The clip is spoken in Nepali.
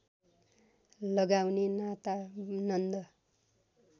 लगाउने नाता नन्द